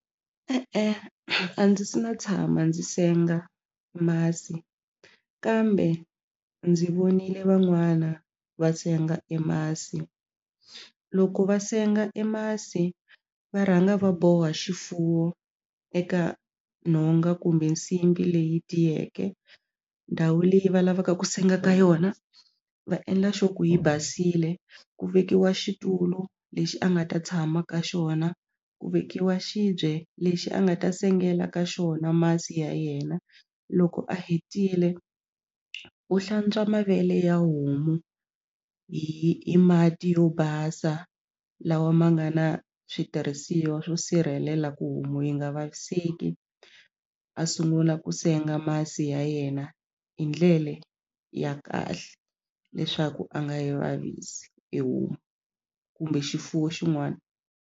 E-e, a ndzi se na tshama ndzi senga masi kambe ndzi vonile van'wana va senga e masi loko va senga e masi va rhanga va boha xifuwo eka nhonga kumbe nsimbhi leyi tiyeke ndhawu leyi va lavaka ku senga ka yona va endla sure ku yi basile ku vekiwa xitulu lexi a nga ta tshama ka xona ku vekiwa xibye lexi a nga ta sengela ka xona masi ya yena loko a hetile u hlantswa mavele ya homu hi hi mati yo basa lawa ma nga na switirhisiwa swo sirhelela ku homu yi nga vaviseki a sungula ku senga masi ya yena hi ndlele ya kahle leswaku a nga yi vavisi e homu kumbe xifuwo xin'wana.